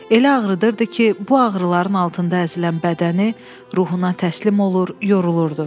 Elə ağrıdırdı ki, bu ağrıların altında əzilən bədəni ruhuna təslim olur, yorulurdu.